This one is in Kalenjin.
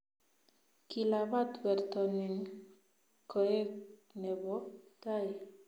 Kilabat werto nin koek nebo tai